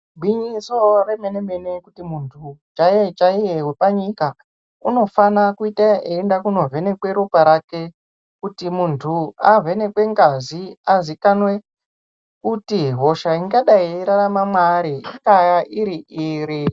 Gwinyiso remene-mene kuti muntu chaiye-chaiye wepanyika, unofane kuita eienda kunovhenekwa ropa rake, kuti muntu avhenekwe ngazi azikanwe kuti hosha ingadai ichirarama maari ingaa iri-iri.